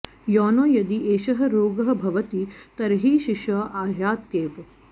योनौ यदि एषः रोगः भवति तर्हि शिशौ आयात्येव